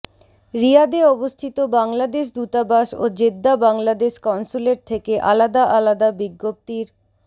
রিয়াদে অবস্থিত বাংলাদেশ দূতাবাস ও জেদ্দা বাংলাদেশ কনস্যুলেট থেকে আলাদা আলাদা বিজ্ঞপ্তির